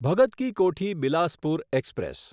Bhagat Ki Kothi Bilaspur express